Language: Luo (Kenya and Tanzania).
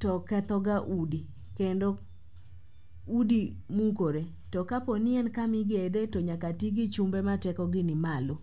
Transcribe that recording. to ketho ga udi kendo udi mukore. To kapo ni en kamigedie to nyaka ti gi chumbe ma tekogi ni malo.